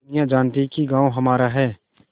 दुनिया जानती है कि गॉँव हमारा है